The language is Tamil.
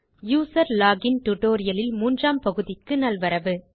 யூசர் லோகின் டியூட்டோரியல் இல் மூன்றாம் பகுதிக்கு நல்வரவு